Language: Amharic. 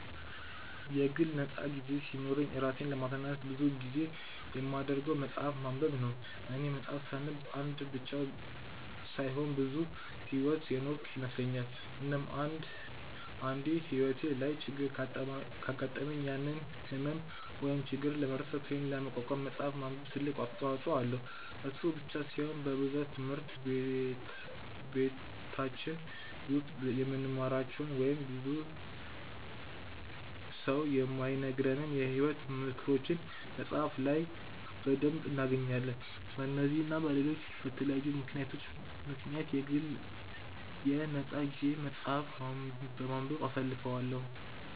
የግል ነፃ ጊዜ ሲኖረኝ እራሴን ለማዝናናት ብዙ ጊዜ የማደርገው መፅሐፍ ማንበብ ነው፦ እኔ መፅሐፍ ሳነብ አንድ ብቻ ሳይሆን ብዙ ሕይወት የኖርኩ ይመስለኛል፤ እናም አንድ አንዴ ሕይወቴ ላይ ችግር ካጋጠመኝ ያንን ህመም ወይም ችግር ለመርሳት ወይም ለመቋቋም መፅሐፍ ማንበብ ትልቅ አስተዋጽኦ አለው፤ እሱ ብቻ ሳይሆን በብዛት ትምህርት በቲች ውስጥ የማንማራቸው ወይንም ሰው ብዙ የማይነግረንን የሕይወት ምክሮችን መፅሐፍ ላይ በደንብ እናገኛለን፤ በነዚህ እና በለሎች በተለያዩ ምክንያቶች ምክንያት የግል የ ነፃ ጊዜየን መፅሐፍ በማንበብ አሳልፈዋለው።